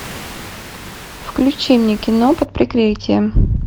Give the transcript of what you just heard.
включи мне кино под прикрытием